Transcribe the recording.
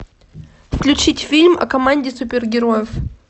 включить фильм о команде супергероев